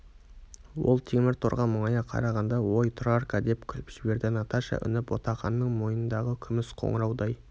ол темір торға мұңая қарағанда ой тұрарка деп күліп жіберді наташа үні ботақанның мойнындағы күміс қоныраудай